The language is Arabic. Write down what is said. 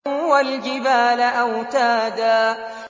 وَالْجِبَالَ أَوْتَادًا